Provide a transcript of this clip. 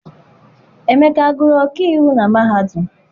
Emeka agụrụ ọkaiwu na mahadum?